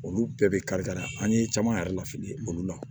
Olu bɛɛ bɛ kari kari an ye caman yɛrɛ la fili olu la